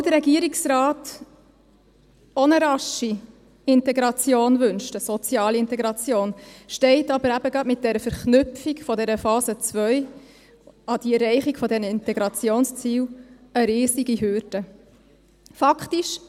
Obwohl der Regierungsrat auch eine rasche Integration wünscht, eine soziale Integration, stellt aber eben gerade mit der Verknüpfung der Phase 2 an die Erreichung der Integrationsziele eine riesige Hürde dar.